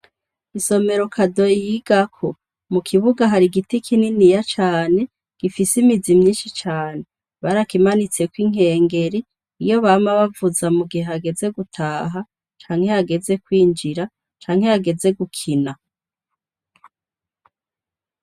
Isomero Kadoyi yigako, mukibuga har'igiti kininiya cane gifise imizi myinshi cane, barakimanitseko inkengeri iyo bama bavuza mugihe hageze gutaha, canke hageze kwinjira, canke hageze gukina.